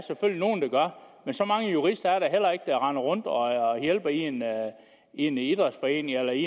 gør men så mange jurister er der heller ikke der render rundt og hjælper i en idrætsforening eller i